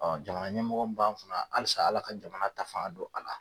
jamana ɲɛmɔgɔ min b'an kunna halisa Ala ka jamana ta fanga don a la.